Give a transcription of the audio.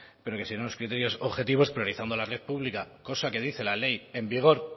pero que siguen unos criterios objetivos priorizando la red pública cosa que dice la ley en vigor